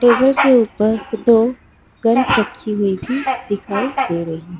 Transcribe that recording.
Paper के ऊपर दो गन्स रखी हुई थीं दिखाई दे रही।